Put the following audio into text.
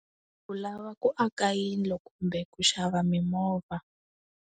U lava ku aka yindlo kumbe ku xava mimovha.